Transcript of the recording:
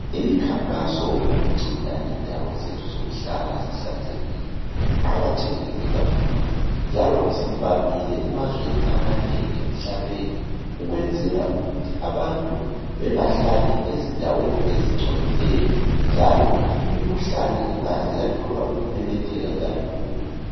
Imikhankaso ngokugcina indawo zethu zokuhlala zihlanzekile iqakathekile kakhulu njalo isivamile emazweni amanengi emhlabeni ukwenzela ukuthi abantu bengahlali ezindaweni ezingcolileyo njalo imikhuhlane ingaze yathola ukumemetheka kalula.